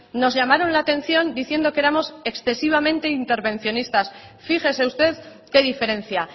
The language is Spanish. nos llamaron la atención diciendo que éramos excesivamente intervencionistas fíjese usted qué diferencia